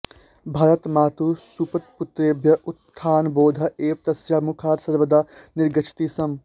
भारतमातुः सुप्तपुत्रेभ्यः उत्थानबोधः एव तस्याः मुखात् सर्वदा निर्गच्छति स्म